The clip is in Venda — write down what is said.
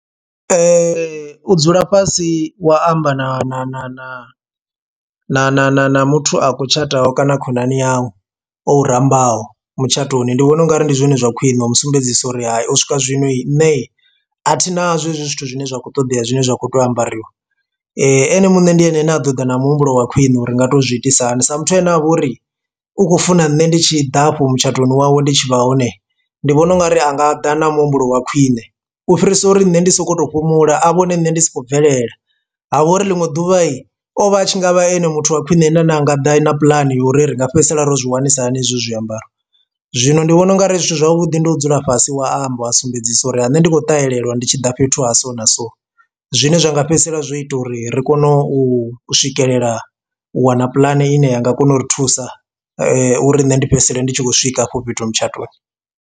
U dzula fhasi wa amba na na na na na na na na muthu a khou tshataho kana khonani yau o u rambaho mutshatoni, ndi vhona ungari ndi zwone zwa khwiṋe u musumbedzisa uri hayo u swika zwino nṋe a thina zwo hezwi zwithu zwine zwa kho ṱoḓea zwine zwa kho tea u ambariwa ene muṋe ndi ene ane a ḓo ḓa na muhumbulo wa khwine uri nga to zwi itisa hani sa muthu ane avha uri u khou funa nṋe ndi tshi ḓa afho mutshatoni wawe, ndi tshi vha hone ndi vhona ungari anga ḓa na muhumbulo wa khwiṋe. U fhirisa uri nne ndi sokou tou fhumula a vhone nne ndi sokou bvelela ha vha uri ḽiṅwe ḓuvhayi ovha a tshi ngavha ane muthu wa khwiṋe ane anga ḓa na puḽani uri ri nga fhedzisela ro zwi wanisisa hani hezwo zwiambaro. Zwino ndi vhona ungari zwithu zwavhuḓi ndo dzula fhasi wa amba wa sumbedzisa uri ane ndi khou ṱahelelwa ndi tshiḓa fhethu ha so na so, zwine zwa nga fhedzisela zwo ita uri ri kone u swikelela u wana puḽane ine ya nga kona u ri thusa uri nṋe ndi fhedzisela ndi tshi khou swika afho fhethu mutshatoni.